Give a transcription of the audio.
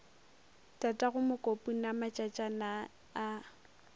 tatago mokopu na matšatšana a